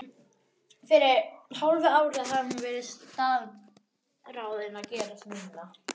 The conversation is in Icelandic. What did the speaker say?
Fyrir hálfu ári hafði hún verið staðráðin að gerast nunna.